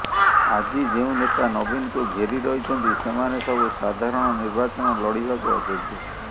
ଆଜି ଯେଉଁ ନେତା ନବୀନଙ୍କୁ ଘେରି ରହିଛନ୍ତି ସେମାନେ ସବୁ ସାଧାରଣ ନିର୍ବାଚନ ଲଢିବାକୁ ଅଯୋଗ୍ୟ